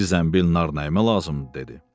Bir zəmbil nar nəyimə lazımdır dedi.